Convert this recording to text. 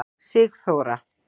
Sigþóra